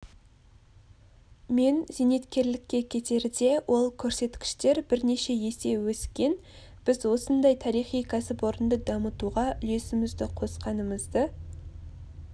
мен зейнеткерлікке кетерде ол көрсеткіштер бірнеше есе өскен біз осындай тарихи кәсіпорынды дамытуға үлесімізді қосқанымызды